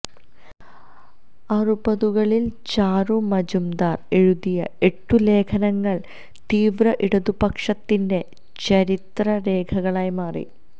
അറുപതുകളിൽ ചാരു മജുംദാര് എഴുതിയ എട്ടു ലേഖനങ്ങൾ തീവ്രഇടതുപക്ഷത്തിന്റെ ചരിത്ര രേഖകളായി മാറി